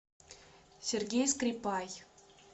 сергей скрипай